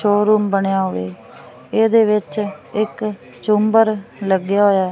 Showroom ਬਣਿਆ ਵੇ ਏਹਦੇ ਵਿੱਚ ਇੱਕ ਝੁੰਮਰ ਲੱਗਿਆ ਹੋਇਆ ਹੈ।